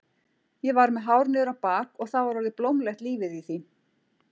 Ég var með hár niður á bak og það var orðið blómlegt lífið í því.